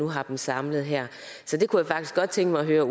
har dem samlet her jeg kunne faktisk godt tænke mig at høre